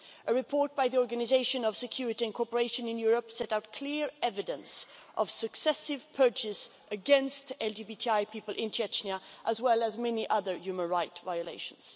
A report by the Organization for Security and Cooperation in Europe sets out clear evidence of successive purges against LGBTI people in Chechnya, as well as many other human rights violations.